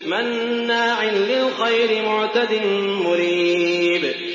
مَّنَّاعٍ لِّلْخَيْرِ مُعْتَدٍ مُّرِيبٍ